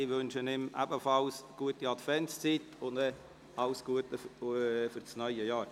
Ich wünsche ihm ebenfalls eine gute Adventszeit und alles Gute für das neue Jahr.